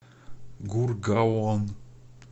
гургаон